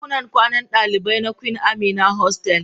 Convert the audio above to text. Dakunan kwanan dalibai na Queen Amina hostel.